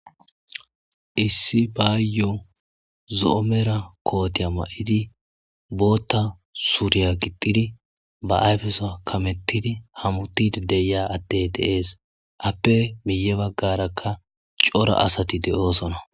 Issi baayo zo'o mara kootiya maidi, booththa suriya gixxidi, ba ayfesuwa karethidi hamuti de'iya adde de'ees. appe miyee bagarakka cora asati de'osona.